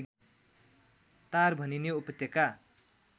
टार भनिने उपत्यका